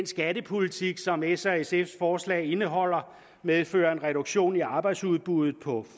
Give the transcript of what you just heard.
skattepolitik som s og sfs forslag indeholder medfører en reduktion i arbejdsudbuddet på